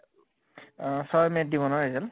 আহ ছয় may ত দিব ন result?